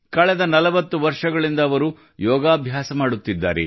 ಕಳೆದ 40 ವರ್ಷಗಳಿಂದ ಅವರು ಯೋಗಾಭ್ಯಾಸ ಮಾಡುತ್ತಿದ್ದಾರೆ